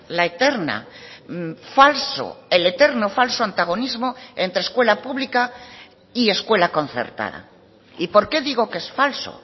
la eterna el eterno falso antagonismo entre escuela pública y escuela concertada y por qué digo que es falso